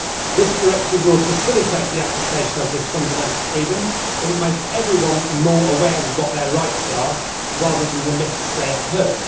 This directive will facilitate the application of this fundamental freedom and will make everyone more aware of what their rights are, rather than the myths they have heard.